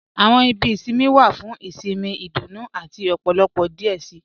Àwọn ìbí ìṣinmí wa fún ìṣinmí, ìdúnú àti ọ̀pọ̀lọpọ̀ díẹ̀ sí.